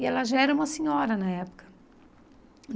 E ela já era uma senhora na época.